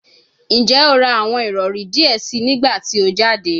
Njẹ o ra awọn irọri diẹ sii nigbati o jade?